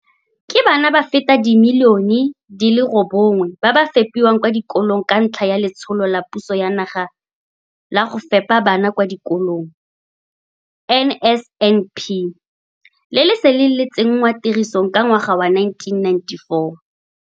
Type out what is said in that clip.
Ke bana ba feta dimilione di le robongwe ba ba fepiwang kwa dikolong ka ntlha ya Letsholo la Puso ya Naga la Go Fepa Bana kwa Dikolong NSNP, le le seleng le tsenngwa tirisong ka ngwaga wa 1994.